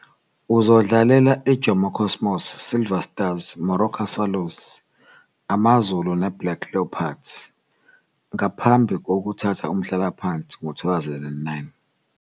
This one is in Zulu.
Uzodlalela iJomo Cosmos, Silver Stars, Moroka Swallows, AmaZulu neBlack Leopards ngaphambi kokuthatha umhlalaphansi ngo-2009.